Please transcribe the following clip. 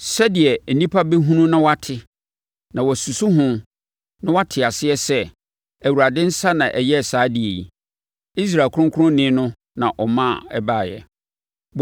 sɛdeɛ nnipa bɛhunu na wɔate, na wɔasusu ho na wɔate aseɛ sɛ, Awurade nsa na ayɛ saa adeɛ yi; Israel ɔkronkronni no na ɔma ɛbaeɛ.